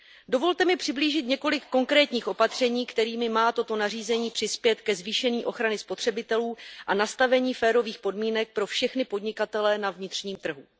Dovolte mi přiblížit několik konkrétních opatření, kterými má toto nařízení přispět ke zvýšení ochrany spotřebitelů a nastavení férových podmínek pro všechny podnikatele na vnitřním trhu.